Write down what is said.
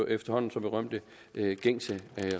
efterhånden så berømte gængse